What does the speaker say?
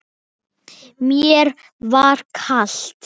Mér var kalt.